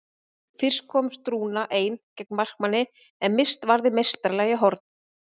Fyrst komst Rúna ein gegn markmanni en Mist varði meistaralega í horn.